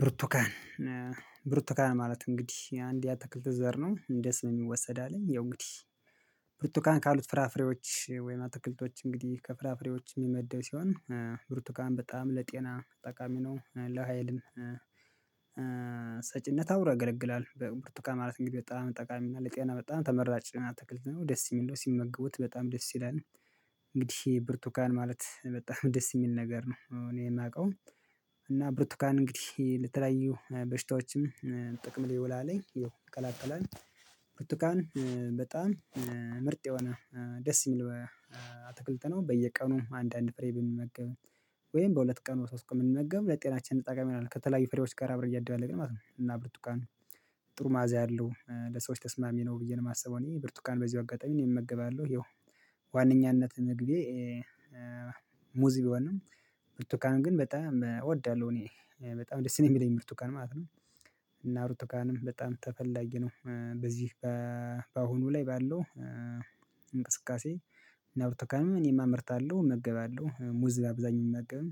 ብርቱካን። ብርቱካን ማለት እንግዲህ አንድ የአተክልተ ዘር ነው እንደ ስሙ ይወሰዳል ያው እንግዲህ። ብርቱካን ካሉት ፍራፍሬዎች ወይም አትክልቶች እንግዲህ ከፍራፍሬዎች የሚመደው ሲሆን ብርቱካን በጣም ለጤና ጠቃሚ ነው። ለሀይልን ሰጪነት አብሮ ያገለግላል በብርቱካ ማለት እንግዲህ በጣም ጠቃሚ ነው ለጤና በጣም ተመራጭ ነው አትክል ነው ደስ የሚለው ሲመገቡት በጣም ደስ ይላል። እንግዲህ ብርቱካን ማለት በጣም ደስ የሚል ነገር ነው እኔ የማውቀው። እና ብርቱካን እንግዲህ ለተለያዩ በሽታዎችም ጥቅም ይውላልኝ ይኸው ይከላከላል። ብርቱካን በጣም ምርጥ የሆነ ደስ ይሚል አትክልት ነው። በየቀኑ አንድ አንድ ፍሬ ብንመገብ ወይም በሁለት ቀን በሶስት ቀን ብነመገብ ለጤናችን ጠቃሚ ይሆናል ከተለያዩ ፍሬዎች ጋር አብረው እያደባለቅን ማለት ነው። እና ብርቱካን ጥሩ ማአዛ ያለው ለሰዎች ተስማሚ ነው ብዬ ነው የማስበው እኔ ብርቱካን በዚሁ አጋጣሚ እኔ እመገባለው ያው። ዋነኛነት ምግቤ ሙዝ ቢሆንም ምርቱካንን ግን በጣም እወዳለሁ። እኔ በጣም ደስ የሚለኝ ብርቱካን ማለት ነው። እና ብርቱካንም በጣም ተፈላጊ ነው በዚህ በአሁኑ ላይ ባለው እንቅስቃሴ እና ብርቱካንም እኔም አምርታለሁ እመግባለሁ። ሙዝ በአብዛኛው ብመገብም